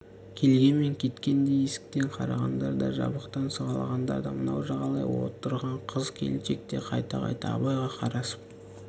келген мен кеткен де есіктен қарағандар да жабықтан сығалағандар да мынау жағалай отырған қыз-келіншек те қайта-қайта абайға қарасып